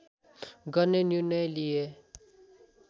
गर्ने निर्णय लिए